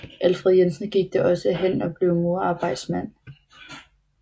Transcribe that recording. Alfred Jensen gik da også hen og blev murerarbejdsmand